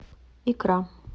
икра